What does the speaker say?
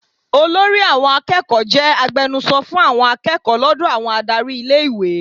Olórí àwọn akẹ́kọ̀ọ́ jẹ́ agbenuso fún àwọn akẹ́kọ̀ọ́ lọ́dọ̀ àwọn adárí ilé-ìwé.